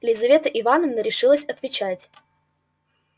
лизавета ивановна решилась отвечать